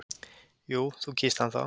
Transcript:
Jú, þú kýst hann þá!